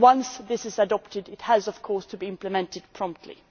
Once this is adopted, it has of course to be implemented promptly.